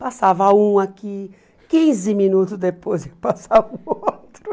Passava um aqui, quinze minutos depois ia passar o outro.